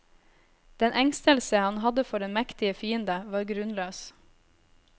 Den engstelse han hadde for den mektige fiende var grunnløs.